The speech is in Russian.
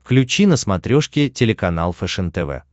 включи на смотрешке телеканал фэшен тв